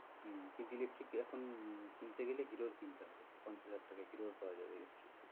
হম কিন্তু electric এখন কিনতে গেলে হিরো ওর কিনতে হবে, পঞ্চাশ হাজার টাকায় হিরো ওর পাওয়া যাবে electric